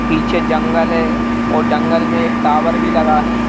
पीछे जंगल है और जंगल में एक टावर भी लगा है।